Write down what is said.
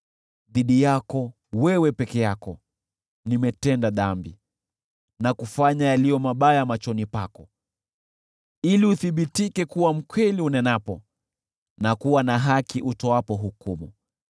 Dhidi yako, wewe peke yako, nimetenda dhambi na kufanya yaliyo mabaya machoni pako, ili uthibitike kuwa wa kweli unenapo, na kuwa na haki utoapo hukumu.